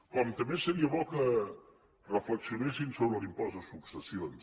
com també seria bo que reflexionessin sobre l’impost de successions